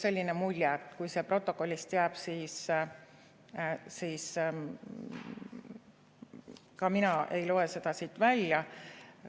Kui see protokollist jääb, siis mina ei loe seda siit välja.